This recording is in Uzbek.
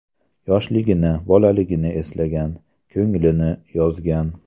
Yoshligini, bolaligini eslagan, ko‘nglini yozgan.